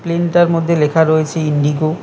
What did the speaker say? প্লেনতার মধ্যে লেখা রয়েছে ইন্ডিগো ।